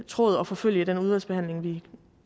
tråd at forfølge i den udvalgsbehandling vi